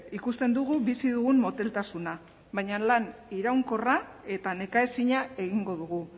ikusten dugu bizi dugun moteltasuna baina lan iraunkorra eta nekaezina egingo dugu